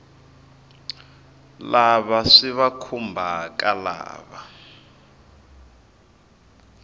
lava swi va khumbhaka lava